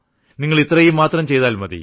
നിങ്ങൾ ഇത്രമാത്രം ചെയ്താൽ മതി